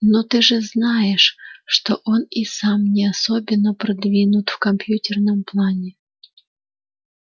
ну ты же знаешь что он и сам не особенно продвинут в компьютерном плане